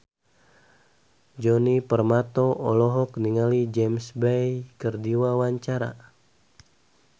Djoni Permato olohok ningali James Bay keur diwawancara